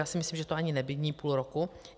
Já si myslím, že to ani není půl roku.